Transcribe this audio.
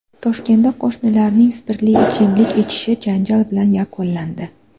Toshkentda qo‘shnilarning spirtli ichimlik ichishi janjal bilan yakunlandi.